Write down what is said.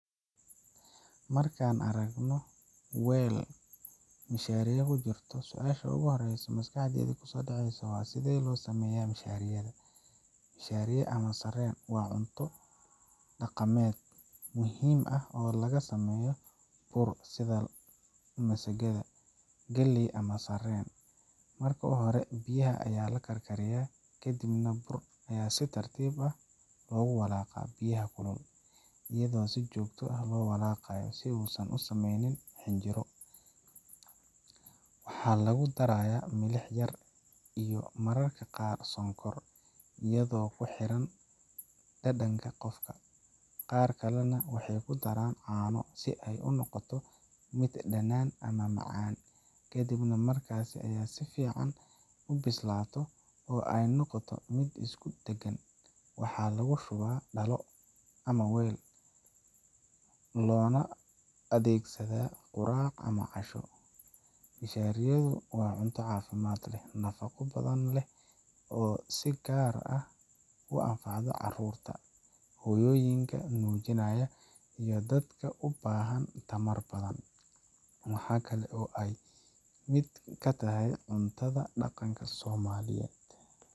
Markaan aragno weel mashaariyo kujirto, su’aasha ugu horreysa ee maskaxda ku soo dhacda waa: sidee loo sameyaa mashariyada? mashariyada ama sarreen waa cunto dhaqameed muhiim ah oo laga sameeyo bur sida bur masago, galley ama sarreen. Marka hore, biyaha ayaa la karkariyaa, kadibna burka si tartiib ah ayaa loogu walaaqaa biyaha kulul, iyadoo si joogto ah loo walaaqayo si uusan u samaynin xinjiro. Waxaa lagu darayaa milix yar iyo mararka qaar sonkor, iyadoo ku xiran dhadhanka qofka. Qaar kalena waxay ku daraan caano si ay u noqoto mid dhanaan ama macaan. Kadib marka ay si fiican u bislaato, oo ay noqoto mid isku dhagan, waxaa lagu shubaa dhalo ama weel, loona adeegsadaa quraac ama casho. mashariyadu waa cunto caafimaad leh, nafaqo badan leh oo si gaar ah u anfacda carruurta, hooyooyinka nuujinaya, iyo dadka u baahan tamar badan. Waxa kale oo ay ka mid tahay cuntada dhaqanka Soomaaliyeed.